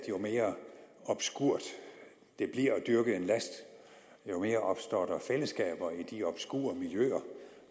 jo mere obskurt det bliver at dyrke en last jo mere opstår der fællesskaber i de obskure miljøer